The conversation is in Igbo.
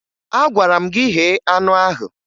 Agwara m gị ghee anụ ahụ!